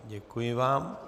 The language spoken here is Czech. Děkuji vám.